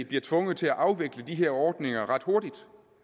bliver tvunget til at afvikle de her ordninger ret hurtigt